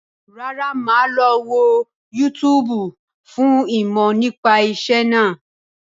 Rárá, máa lọ wo yútúúbù fún ìmọ̀ nípa ìṣẹ́ náà.